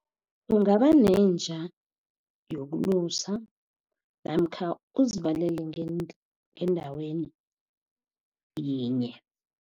Kungaba nenja yokulusa namkha uzivalele endaweni yinye.